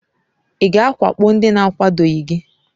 Ị ga-awakpo ndị na-akwadoghị gị?